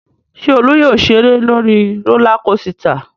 Ṣé Olú yóò ṣeré lórí rólá kosità?